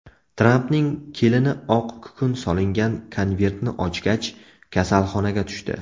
Trampning kelini oq kukun solingan konvertni ochgach, kasalxonaga tushdi.